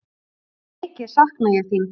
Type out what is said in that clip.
Mikið sakna ég þín.